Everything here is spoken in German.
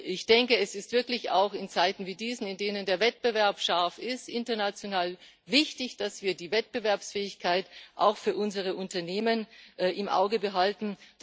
Ich denke, es ist wirklich auch in Zeiten wie diesen, in denen der Wettbewerb scharf ist, international wichtig, dass wir die Wettbewerbsfähigkeit auch für unsere Unternehmen im Auge behalten.